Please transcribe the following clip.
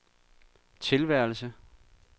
tilværelse